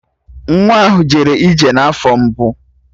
Nwa ahụ jere ije n'afọ mbụ